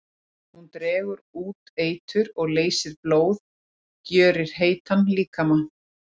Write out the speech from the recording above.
Hún dregur út eitur og leysir blóð, gjörir heitan líkama.